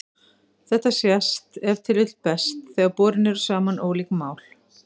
Þetta sést ef til vill best þegar borin eru saman ólík mál.